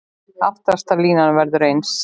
Aftasta línan verður eins.